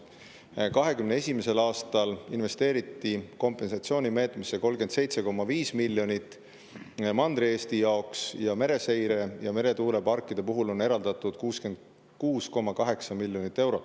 2021. aastal investeeriti kompensatsioonimeetmesse 37,5 miljonit Mandri-Eesti jaoks ning mereseire ja meretuuleparkide puhul on eraldatud 66,8 miljonit eurot.